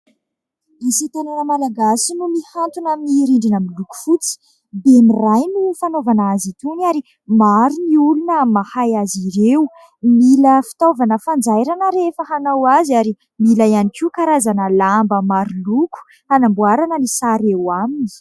Asa tanana malagasy no mihantona amin'ny rindrina miloko fotsy, bemiray no fanaovana azy itony ary maro ny olona mahay azy ireo, mila fitaovana fanjairana rehefa hanao azy ary mila ihany koa karazana lamba maro loko, hanamboarana ny sary eo aminy.